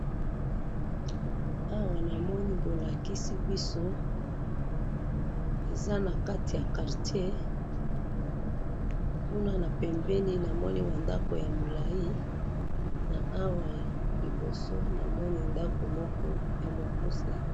Awa namoni bolakisi biso, eza nakati ya Quartier, kuna napembeni namoni bandako yamilayi, na awa liboso namoni ndako moko yamukuse.